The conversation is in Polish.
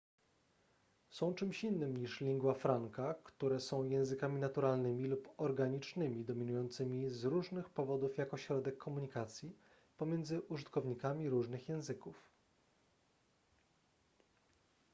są czymś innym niż lingua franca które są językami naturalnymi lub organicznymi dominującymi z różnych powodów jako środek komunikacji pomiędzy użytkownikami różnych języków